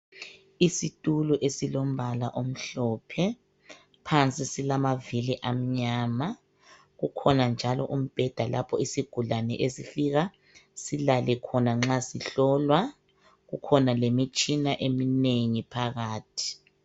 Isitulo esilombala omhlophe, phansi silamavili amanyama, kukhona njalo umbheda lapho isigulane esifika silale khona nxa sihlolwa kukhona lemitshina eminengi phakathi